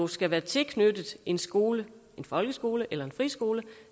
skal være tilknyttet en skole en folkeskole eller en friskole